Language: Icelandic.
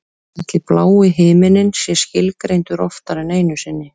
Ætli blái himininn sé skilgreindur oftar en einu sinni?